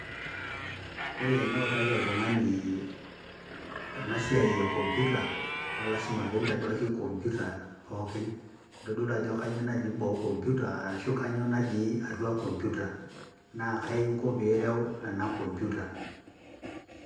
ore eniutaki oltugani ena siai e computer naa lasima pintaduaki computer pookin. nintodolu ajo kainyioo natii computer arashu kainyioo natii atua computer naa kai inko pireu ena computer .